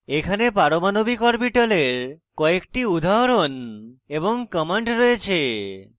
এখানে পারমাণবিক orbitals কয়েকটি উদাহরণ এবং commands রয়েছে